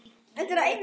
Jæja, ég trúi þér.